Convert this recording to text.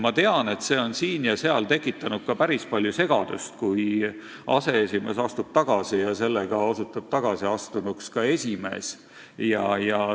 Ma tean, et siin ja seal on tekitanud päris palju segadust, kui aseesimees astub tagasi ja sellega osutub tagasiastunuks ka esimees.